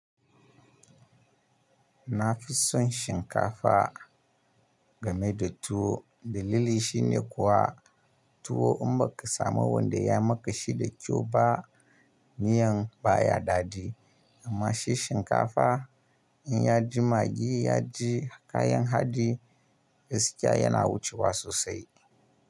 Na fi son shinkafa game da tuwo. Dalili shi ne kuwa tuwo in ba ka samu wanda ya maƙa shi da kyau ba, miyan ba ya daɗi. Amma shi shinkafa in ya ji magi, ya ji kayan haɗi, gaskiya yana wucewa sosai.